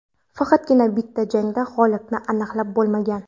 Faqatgina bitta jangida g‘olibni aniqlab bo‘lmagan.